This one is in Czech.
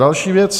Další věc.